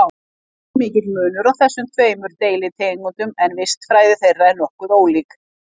Ekki er mikill munur á þessum tveimur deilitegundum en vistfræði þeirra er nokkuð ólík.